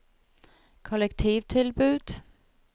kollektivtilbud